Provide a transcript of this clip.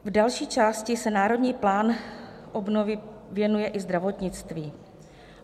V další části se Národní plán obnovy věnuje i zdravotnictví.